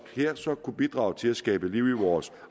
kunne bidrage til at skabe liv i vores